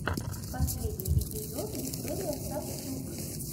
последний эпизод виктория сафтюк